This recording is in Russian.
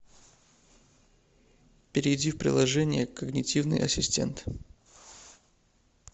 перейди в приложение когнитивный ассистент